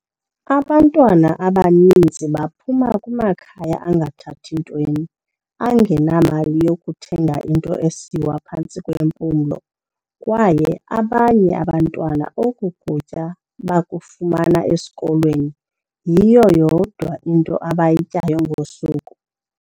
"Abantwana abaninzi baphuma kumakhaya angathathi ntweni, angenamali yokuthenga into esiwa phantsi kwempumlo, kwaye abanye abantwana oku kutya bakufumana esikolweni, yiyo yodwa abayityayo ngosuku."